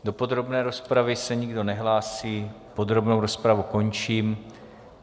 Do podrobné rozpravy se nikdo nehlásí, podrobnou rozpravu končím.